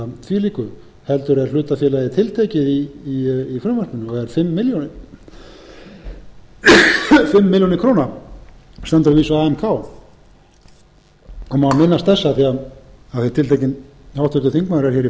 þvílíku heldur er hlutafélagið tiltekið í frumvarpinu og er fimm milljónir króna má minnast þess af því að tiltekinn háttvirtur þingmaður er hér í